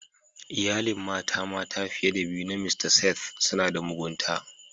Iyalin mata mata fiye da biyu na mista Seth suna da mugunta.